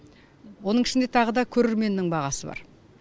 оның ішінде тағы да көрерменнің бағасы бар